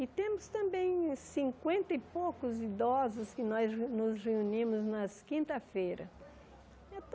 E temos também cinquenta e poucos idosos que nós nos reunimos nas quinta-feiras.